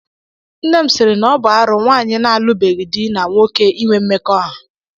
Nne m sịịrị na ọ bụ arụ nwanyị na-alụbeghi dị na nwoke inwe mmekọahụ.